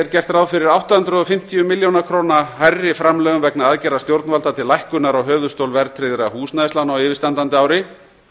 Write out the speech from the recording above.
gert ráð fyrir átta hundruð og fimmtíu milljón króna hærri framlögum vegna aðgerða stjórnvalda til lækkunar á höfuðstól verðtryggðra húsnæðislána á yfirstandandi ári